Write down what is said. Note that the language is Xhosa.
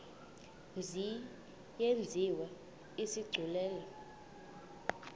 mzi yenziwe isigculelo